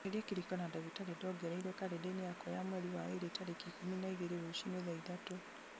eheria kĩrĩko na ndagĩtarĩ ndongereirwo karenda-inĩ yakwa ya mweri wa ĩrĩ tarĩki ikũmi na igĩrĩ rũciinĩ thaa ithatũ